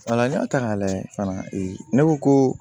n'i y'a ta k'a lajɛ fana ne ko ko